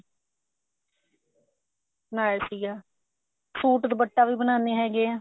ਬਣਾਇਆ ਸੀਗਾ suit ਦੁਪੱਟੇ ਵੀ ਬਨਾਨੇ ਹੈਗੇ ਆ